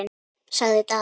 sagði Daði.